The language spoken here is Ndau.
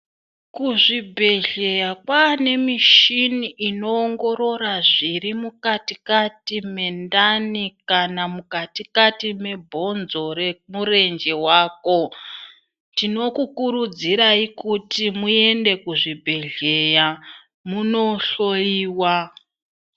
Kuzvibhedhleya kwaane mishini inoongorora zvirimukatikati mendani kana zvirimukatikati mebhonzo remurenje wako, tinokukurudzirai kuti muende kuzvibhedhleya munohloyiwa.